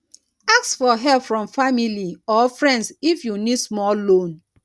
ask for help from family or friends if you need small loan